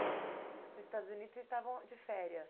Nos Estados Unidos, vocês estavam de férias?